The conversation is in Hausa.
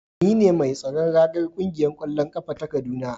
Ni ne mai tsaron ragar kungiyar kwallon kafa ta kaduna